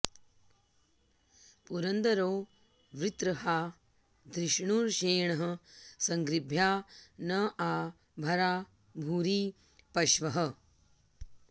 पु॒रं॒द॒रो वृ॑त्र॒हा धृ॒ष्णुषे॑णः सं॒गृभ्या॑ न॒ आ भ॑रा॒ भूरि॑ प॒श्वः